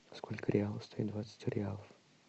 сколько реалов стоит двадцать реалов